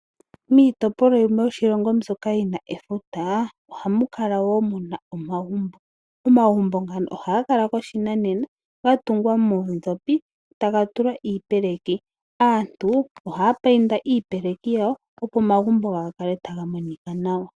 Miitopolwa yimwe yoshilongo mbyoka yi na efuta ohamu kala woo muna omagumbo. Omagumbo ngano ohaga kala gopashinanena, ga tungwa moondhopi taga tulwa iipeleki. Aantu ohaya painda iipeleki yawo opo omagumbo gawo ga kale taga monika nawa.